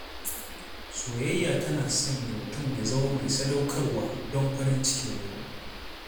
Soyayya tana sanya mutum ya zama mai sadaukarwa don farin cikin wani.